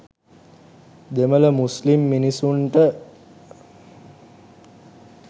දෙමළ මුස්ලිම් මිනිස්සුන්ට